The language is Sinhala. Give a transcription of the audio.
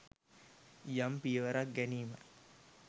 යම් පියවරක් ගැනීමයි